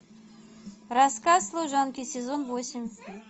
рассказ служанки сезон восемь